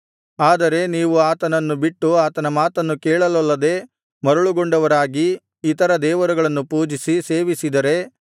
ಆದರೆ ನೀವು ಆತನನ್ನು ಬಿಟ್ಟು ಆತನ ಮಾತನ್ನು ಕೇಳಲೊಲ್ಲದೆ ಮರುಳುಗೊಂಡವರಾಗಿ ಇತರ ದೇವರುಗಳನ್ನು ಪೂಜಿಸಿ ಸೇವಿಸಿದರೆ